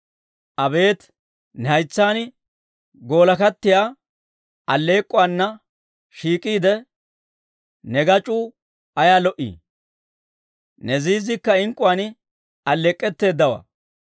Abeet, ne haytsaan goolakkattiyaa alleek'k'uwaana shiik'iide, ne gac'uu ayaa lo"ii! Ne ziizziikka ink'k'uwaan alleek'k'etteedawaa.